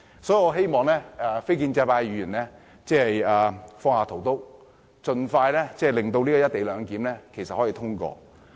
所以，我希望非建制派議員放下屠刀，盡快令實施"一地兩檢"安排的《條例草案》通過。